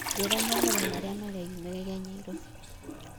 njĩĩra mohoro marĩa mareyũmiria nyairobi